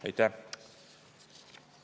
Aitäh!